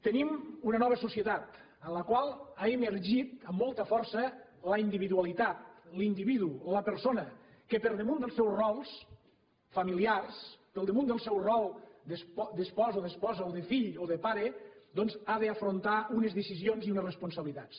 tenim una nova societat en la qual ha emergit amb molta força la individualitat l’individu la persona que per damunt dels seus rols familiars per damunt del seu rol d’espòs o d’esposa o de fill o de pare doncs ha d’afrontar unes decisions i unes responsabilitats